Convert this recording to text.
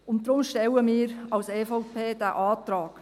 Deshalb stellen wir als EVP diesen Antrag.